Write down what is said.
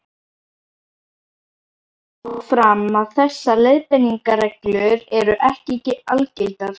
Tekið skal þó fram að þessar leiðbeiningarreglur eru ekki algildar.